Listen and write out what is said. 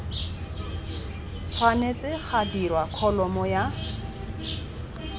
tshwanetse ga dirwa kholomo ya